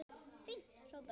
Fínt hrópaði Gerður.